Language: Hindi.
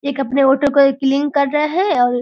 एक अपने ऑटो को ये क्लीन कर रहे हैं और --